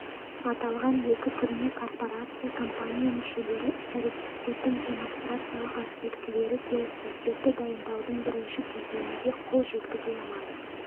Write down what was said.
аталған екі түріне корпорация компания мүшелері іс-әрекеттердің демонстрациялық аспектілері-келіссөздерді дайындаудың бірінші кезеңінде қол жеткізе алады